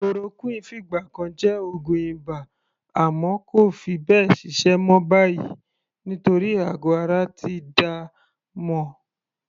Chloroquine fìgbà kan jẹ́ oògùn ibà àmọ́ kò fi bẹ́ẹ̀ ṣiṣẹ́ mọ́ báyìí nítorí àgọ̀ ara ti dá a mọ̀.